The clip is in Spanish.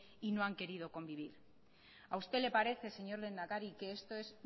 y no han querido convivir a usted le parece señor lehendakari que esto es